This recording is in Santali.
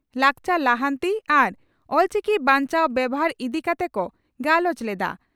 ᱞᱟᱠᱪᱟᱨ ᱞᱟᱦᱟᱱᱛᱤ ᱟᱨ ᱚᱞᱪᱤᱠᱤ ᱵᱟᱧᱪᱟᱣ ᱵᱮᱵᱷᱟᱨ ᱤᱫᱤ ᱠᱟᱛᱮ ᱠᱚ ᱜᱟᱞᱚᱪ ᱞᱮᱫᱼᱟ ᱾